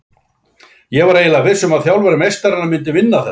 Ég var eiginlega viss um að þjálfari meistaranna myndi vinna þetta,